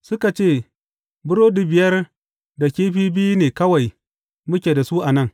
Suka ce, Burodi biyar da kifi biyu ne kawai muke da su a nan.